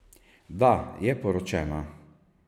Da je poročena.